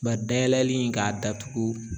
dayɛlɛli in k'a datugu